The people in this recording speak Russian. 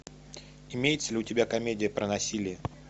имеется ли у тебя комедия про насилие